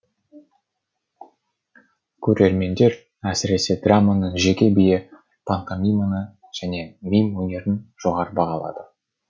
көрермендер әсіресе драманың жеке биі пантомиманы және мим өнерін жоғары бағалады